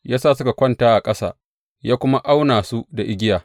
Ya sa suka kwanta a ƙasa, ya kuma auna su da igiya.